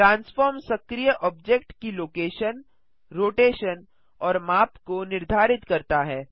transform सक्रीय object की location rotation और माप को निर्धारित करता है